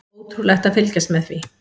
Ótrúlegt að fylgjast með því.